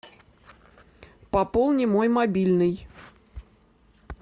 пополни мой мобильный